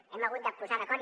hem hagut de posar d’acord